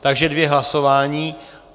Takže dvě hlasování.